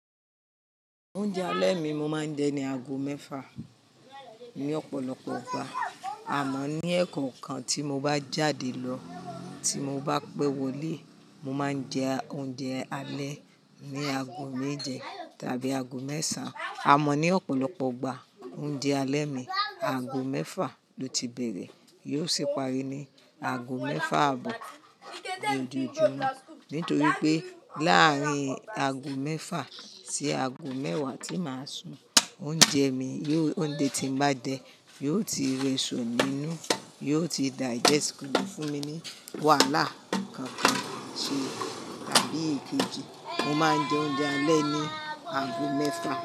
Oúnjẹ alẹ́ mi mo máa ń jẹ ní ago mẹ́fà ní ọ̀pọ̀lọpọ̀ ọgbà àmọ́ ní ẹ̀kọ̀kan tí mo bá jáde lọ tí mo bá pẹ́ wọlé, mo máa ń jẹ oúnjẹ alẹ́ ní ago méje tàbí ago mẹ́ṣàn. A mọ̀ ní ọ̀pọ̀lọpọ̀ ọgbà oúnjẹ alẹ́ mi, ago mẹ́fà lọ ti bẹ̀rẹ̀ yóò sì pari ní ago mẹ́fà àbọ̀. Ìdí ìjẹ́ náà, nítorí pé láàárín ago mẹ́fà sí ago mẹ́wàá tí màá sùn, oúnjẹ mi yóò oúnjẹ tí mo bá jẹ yóò ti rìn sọ nínú yóò ti digest gidi fún mi ní wàhálà kankan àti tàbí ìkejì. Mo máa ń jẹ oúnjẹ alẹ́ ní ago mẹ́fà.